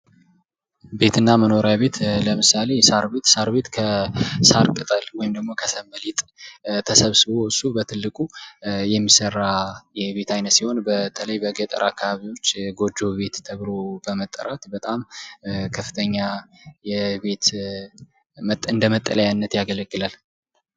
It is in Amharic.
ቤትና መኖሪያ ቤት ለምሳሌ ሳር ቤት ሳር ቅጠል ተሰብስቦ እሱ በትልቁ የሚሠራ የቤት ዓይነት ሲሆን በተለይ በገጠር አካባቢዎች ጎጆ ቤት ተብሎ ተብሎ በመጠራት በጣም ከፍተኛ እንደ መጠለያነት ያገለግላል።